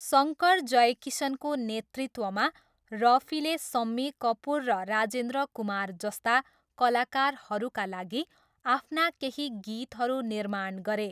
शङ्कर जयकिसनको नेतृत्वमा, रफीले सम्मी कपुर र राजेन्द्र कुमार जस्ता कलाकारहरूका लागि आफ्ना केही गीतहरू निर्माण गरे।